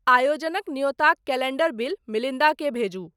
आयोजनक न्योताक calendar bill मिलिंदा क भेजू